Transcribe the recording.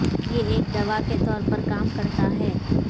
یہ ایک دوا کے طور پر کام کرتا ہے